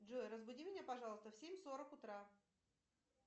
джой разбуди меня пожалуйста в семь сорок утра